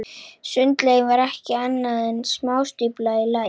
Sundlaugin var ekki annað en smástífla í læk.